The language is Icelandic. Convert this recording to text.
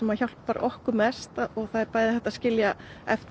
hjálpar okkur mest hægt að skilja eftir